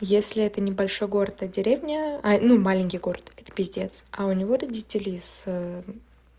если это небольшой город а деревня ну маленький город это капец а у него родители с